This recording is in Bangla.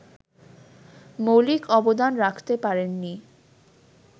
মৌলিক অবদান রাখতে পারেননি